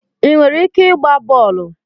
Ị nwere ike ịgba bọọlụ?